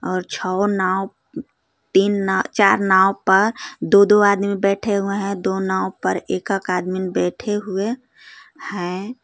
और छओ नाव तीन नाव चार नाव पर दो दो आदमी बैठे हुए हैं दो नाव पर एक एक आदमीन बैठे हुए हैं।